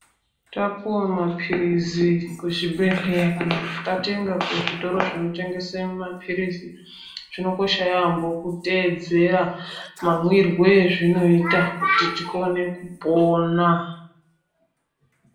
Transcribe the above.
Tapiwa mapirizi kuzvibhedhlera kana kuti tatenga kuzvitoro zvinotengesa mapirizi zvakakosha yaamho kuteedzera mamwiro ezvinoita kuti tikone kupona.